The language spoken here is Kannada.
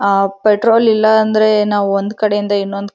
ಅಅ ಪೆಟ್ರೋಲ್ ಇಲ್ಲ ಇಲ್ಲ ಅಂದ್ರೆ ನಾವ್ ಒಂದ್ ಕಡೆಯಿಂದ ಇನ್ನೊಂದ್ ಕಡೆ--